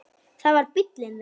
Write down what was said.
Það var bíllinn þeirra.